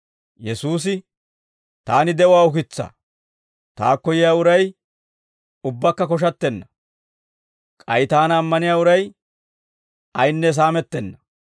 Yesuusi, «Taani de'uwaa ukitsaa; taakko yiyaa uray ubbakka koshattenna. K'ay taana ammaniyaa uray ayinne saamettenna.